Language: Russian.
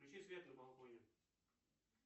включи свет на балконе